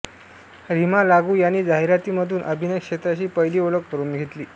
रीमा लागू यांनी जाहिरातींमधून अभिनय क्षेत्राशी पहिली ओळख करून घेतली